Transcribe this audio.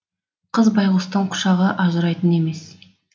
қыз байғұстың құшағы ажырайтын емес